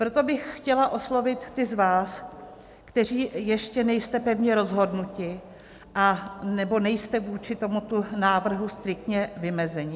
Proto bych chtěla oslovit ty z vás, kteří ještě nejste pevně rozhodnuti anebo nejste vůči tomuto návrhu striktně vymezeni.